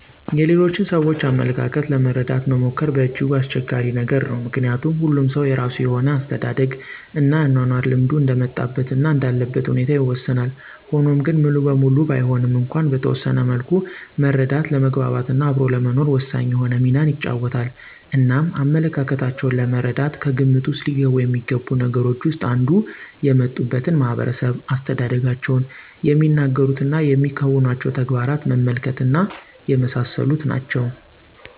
የሌሎችን ሰዎች አመለካከት ለመረደት መሞከር በእጅጉ አስቸጋሪ ነገር ነው። ምከንያቱም ሁሉም ሰው የራሱ የሆነ የአስተዳደግ እና የአኗኗር ልምዱ እንደ መጣበት እና እንዳለበት ሁኔታ ይወሰናል፤ ሆኗም ግን ሙሉበሙሉ ባይሆንም እንኳን በተወሰነ መልኩ መረዳት ለመግባት እና አብሮ ለመኖር ወሳኝ የሆነ ሚናን ይጫወታል። እናም አመለካከታቸው ለመረዳት ከግምት ዉስጥ ሊገቢ የሚገቡት ነገሮች ዉስጥ አንዱ የመጡበትን ማህበረሰብ፣ አስተዳደጋቸውን፣ የሚናገሩት እና የሚያከናውኑቸዉ ተግባራት መመልከት እና የመሳሰሉት ናቸው።